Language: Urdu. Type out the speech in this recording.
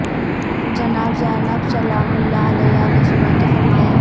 جناب زینب سلام الل علیہا نے سنا تو فرمایا